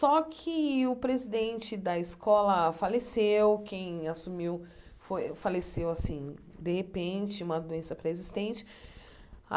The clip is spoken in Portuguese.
Só que o presidente da escola faleceu, quem assumiu foi faleceu, assim, de repente, uma doença pré-existente. Ah